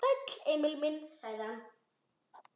Sæll, Emil minn, sagði hann.